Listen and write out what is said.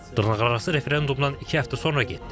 Dırnaqarası referendumdan iki həftə sonra getdim.